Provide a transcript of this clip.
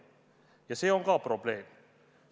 Ja see on probleem.